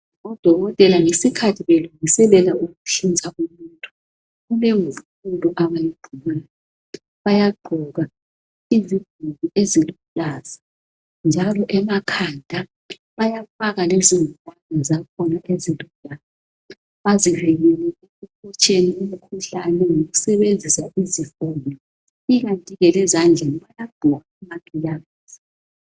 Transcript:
Odokotela ngesikhathi belungiselela ukuhlinza umuntu kulengubo abayigqokayo bayagqoka izigqoko eziluhlaza njalo emakhanda bayafaka lezingwane zakhona ezilombala oluhlaza bazivikele ekuhotsheni umkhuhlane ngokusebenzisa izifonyo ikanti lezandleni bayagqoka lamagilavisi